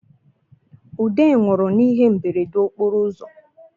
Ude nwụrụ n’ihe mberede okporo ụzọ